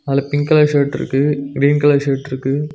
அதுல pink colour ஷர்ட்ருக்கு green colour ஷர்ட்ருக்கு .